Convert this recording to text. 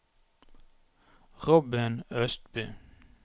Robin Østby